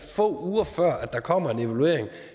få uger før der kommer en evaluering